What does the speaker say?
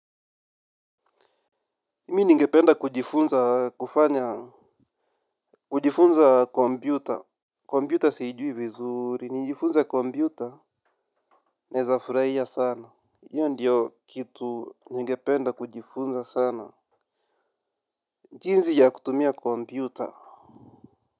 Mimi ningependa kujifunza kufanya kujifunza kompyuta kompyuta siijui vizuri, nijifunze kompyuta. Naweza furahia sana hiyo ndiyo kitu ningependa kujifunza sana. Jinsi ya kutumia kompyuta.